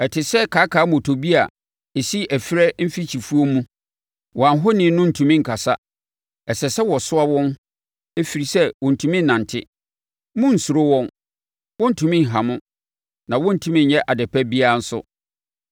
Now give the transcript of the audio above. Ɛte sɛ kaakaammotobi a ɛsi ɛferɛ mfikyifuo mu, wɔn ahoni no ntumi nkasa; ɛsɛ sɛ wɔsoa wɔn ɛfiri sɛ wɔntumi nnante. Monnsuro wɔn; wɔrentumi nha mo na wɔrentumi nyɛ adepa biara nso.”